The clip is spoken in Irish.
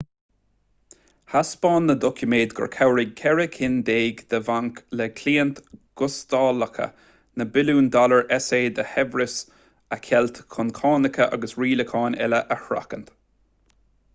thaispeáin na doiciméid gur chabhraigh ceithre cinn déag de bhainc le cliaint ghustalacha na billiúin dollar sa de shaibhreas a cheilt chun cánacha agus rialacháin eile a sheachaint